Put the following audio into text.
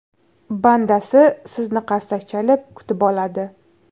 Bandasi sizni qarsak chalib kutib oladi.